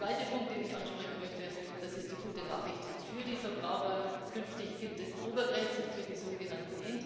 Der zweite Punkt, den ich ansprechen möchte das ist die gute Nachricht für die Verbraucher Künftig gibt es Obergrenzen für die sogenannten intra EU calls